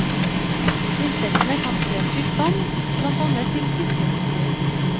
Insektene kan spre sykdom, blant annet til fiskeindustrien.